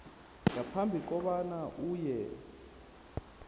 ngaphambi kobana uye